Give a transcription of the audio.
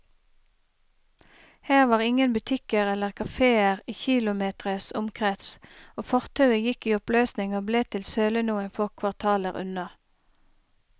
Her var ingen butikker eller kaféer i kilometres omkrets, og fortauet gikk i oppløsning og ble til søle noen få kvartaler unna.